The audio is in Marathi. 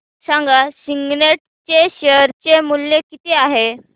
सांगा सिग्नेट चे शेअर चे मूल्य किती आहे